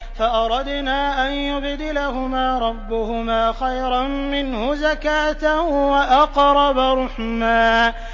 فَأَرَدْنَا أَن يُبْدِلَهُمَا رَبُّهُمَا خَيْرًا مِّنْهُ زَكَاةً وَأَقْرَبَ رُحْمًا